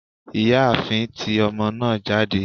ìyáàfín, tí omo naa jade